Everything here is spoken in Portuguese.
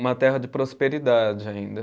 Uma terra de prosperidade ainda.